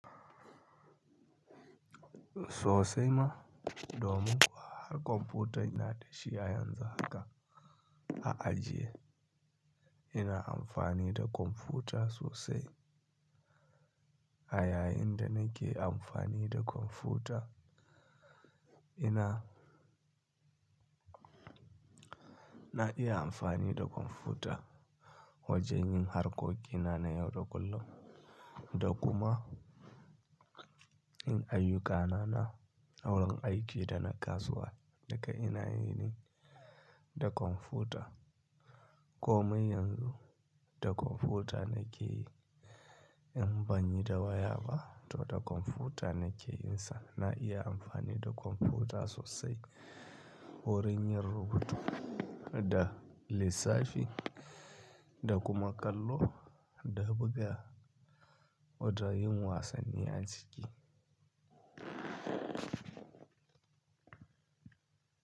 So sai ma, domin har kwamfuta ina dashi a yanzu haka a ajiya, ina amfani da kwamfuta sosai. A yayin da nake amfani da kwamfuta, ina, na iya amfani da kwamfuta wajen yin harkokin na na yau da kullum da kuma in ayyukana na wurin aiki da na kasuwa daka ina yin da kwamfuta. Komai yanzu da kwamfuta nake yi, in ban yi da waya ba, to da kwamfuta nake yin sa. Na iya amfani da kwamfuta sosai wurin yin rubutu da lissafi da kuma kallo da buga da yin wasanni a ciki.